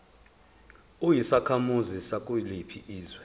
uyisakhamuzi sakuliphi izwe